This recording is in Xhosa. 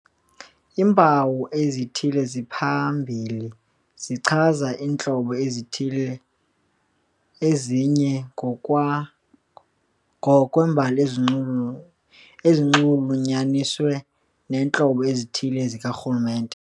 Iimpawu ezithile eziphambili zichaza iintlobo ezithile, ezinye ngokwa ngokwembali ezinxulunyaniswa neentlobo ezithile zikarhulumente.